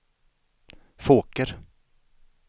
Fåker